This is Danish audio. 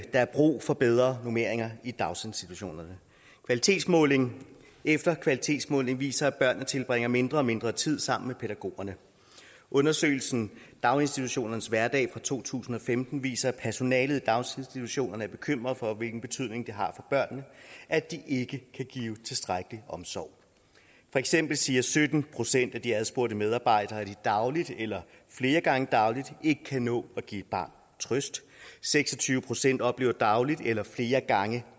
er brug for bedre normeringer i daginstitutionerne kvalitetsmåling efter kvalitetsmåling viser at børnene tilbringer mindre og mindre tid sammen med pædagogerne undersøgelsen daginstitutionernes hverdag to tusind og femten viser at personalet i daginstitutionerne er bekymret for hvilken betydning det har for børnene at de ikke kan give tilstrækkelig omsorg for eksempel siger sytten procent af de adspurgte medarbejdere at de dagligt eller flere gange dagligt ikke kan nå at give et barn trøst seks og tyve procent oplever dagligt eller flere gange